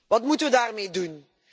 Wat moeten we daarmee doen?